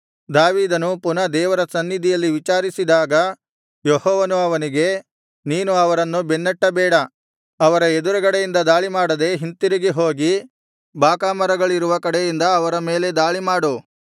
ದಾವೀದನು ಪುನಃ ದೇವರ ಸನ್ನಿಧಿಯಲ್ಲಿ ವಿಚಾರಿಸಿದಾಗ ಯೆಹೋವನು ಅವನಿಗೆ ನೀನು ಅವರನ್ನು ಬೆನ್ನಟ್ಟಬೇಡ ಅವರ ಎದುರುಗಡೆಯಿಂದ ದಾಳಿಮಾಡದೆ ಹಿಂತಿರುಗಿ ಹೋಗಿ ಬಾಕಾಮರಗಳಿರುವ ಕಡೆಯಿಂದ ಅವರ ಮೇಲೆ ದಾಳಿಮಾಡು